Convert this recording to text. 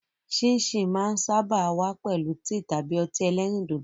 Síìnsìn máa ń sáábà wá pẹ̀lú tíì tàbí ọtí ẹlẹ́rìndòdò.